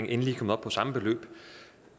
endelig kommet op på samme beløb